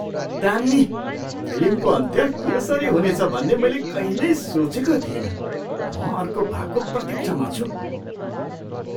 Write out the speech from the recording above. दामी! फिल्मको अन्त्य यसरी हुनेछ भन्ने मैले कहिल्यै सोचेको थिइनँ। म अर्को भागको प्रतिक्षामा छु।